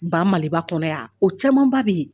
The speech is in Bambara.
Ba Maliba kɔnɔ yan o camanba bɛ yen